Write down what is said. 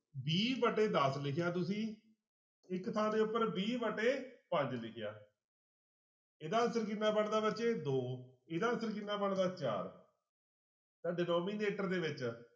v ਵਟੇ ਦਸ ਲਿਖਿਆ ਤੁਸੀਂ ਇੱਕ ਥਾਂ ਦੇ ਉੱਪਰ v ਵਟੇ ਪੰਜ ਲਿਖਿਆ ਇਹਦਾ answer ਕਿੰਨਾ ਬਣਦਾ ਬੱਚੇ ਦੋ ਇਹਦਾ answer ਕਿੰਨਾ ਬਣਦਾ ਚਾਰ ਤਾਂ denominator ਦੇ ਵਿੱਚ